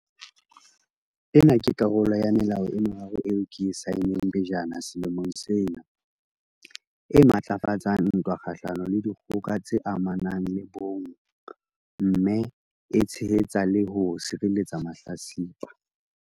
Ena ke karolo ya melao e meraro eo ke e saenneng pejana selemong sena e matlafatsang ntwa kgahlano le dikgoka tse amanang le bong mme e tshehetsa le ho sireletsa mahlatsipa.